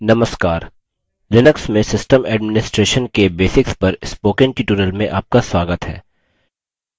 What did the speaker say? नमस्कार लिनक्स में system administration के basics पर spoken tutorial में आपका स्वागत है